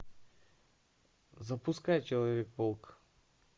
запускай человек паук